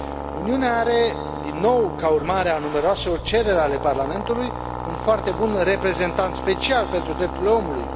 Uniunea are, din nou ca urmare a numeroaselor cereri ale Parlamentului, un foarte bun reprezentant special pentru drepturile omului.